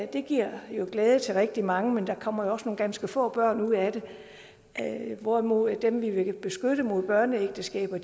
det giver glæde til rigtig mange men der kommer jo også nogle ganske få børn ud af det hvorimod dem vi vil beskytte mod børneægteskaber